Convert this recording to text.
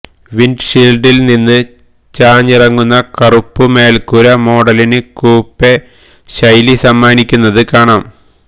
വിന്ഡ്ഷീല്ഡില് നിന്നും ചാഞ്ഞിറങ്ങുന്ന കറുപ്പു മേല്ക്കൂര മോഡലിന് കൂപ്പെ ശൈലി സമ്മാനിക്കുന്നത് കാണാം